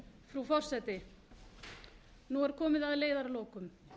frú forseti nú er komið að leiðarlokum